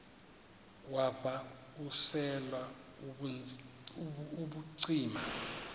wav usel ubucima